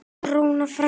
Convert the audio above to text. Rúna frænka.